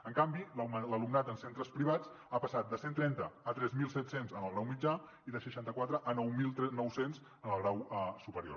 en canvi l’alumnat en centres privats ha passat de cent i trenta a tres mil set cents en el grau mitjà i de seixanta quatre a nou mil nou cents en el grau superior